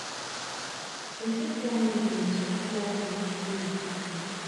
you fit tell me di most popular game wey you dey play